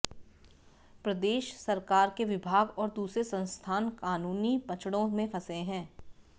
प्रदेश सरकार के विभाग और दूसरे संस्थान कानूनी पचड़ों में फंसे हैं